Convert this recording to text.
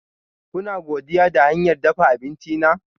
Kuna godiya da hanyar dafa abinci na?